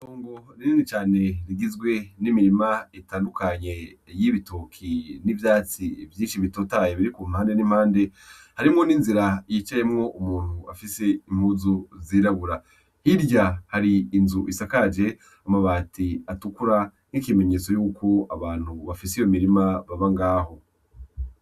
Ungo rinini cane rigizwe n'imirima itandukanye y'ibitoki n'ivyatsi vyinshi bitotaye biri ku mpande n'impande harimwo ninzira yicayemwo umuntu afise impuzu zirabura hirya hari inzu isakaje amabati atukura nk'ikimenyetso yuko abantu bafise iyo mirimabe bangaho.